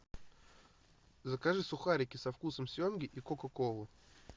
закажи сухарики со вкусом семги и кока колу